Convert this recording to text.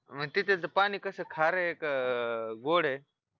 अन तिथे पाणी कस खार आहे का गोड आहे